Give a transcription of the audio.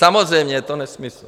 Samozřejmě je to nesmysl.